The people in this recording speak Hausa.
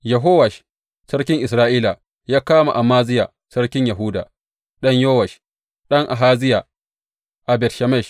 Yehowash sarkin Isra’ila ya kama Amaziya sarkin Yahuda, ɗan Yowash, ɗan Ahaziya a Bet Shemesh.